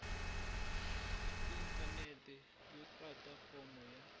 inthanete no tata fomo ya